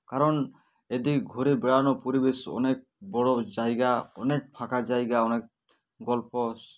কারণ এটি ঘুরে বেড়ানোর পরিবেশ অনেক বড়ো জায়গা অনেক ফাঁকা জায়গা অনেক গল্প